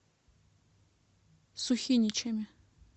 сухиничами